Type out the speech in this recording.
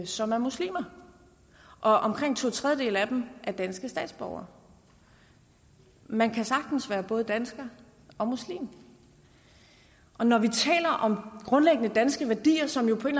som er muslimer og omkring to tredjedele af dem er danske statsborgere man kan sagtens være både dansker og muslim når vi taler om grundlæggende danske værdier som jo på en